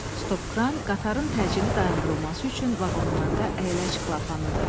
Stopkran qatarın təcili dayandırılması üçün vaqonlarda əyləc klapanıdır.